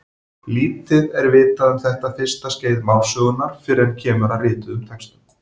Lítið er vitað um þetta fyrsta skeið málsögunnar fyrr en kemur að rituðum textum.